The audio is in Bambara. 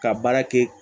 Ka baara kɛ